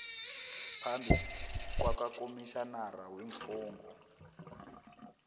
phambi kwakakomitjhinara weemfungo